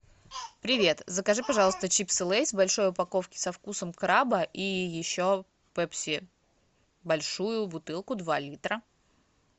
привет закажи пожалуйста чипсы лейс в большой упаковке со вкусом краба и еще пепси большую бутылку два литра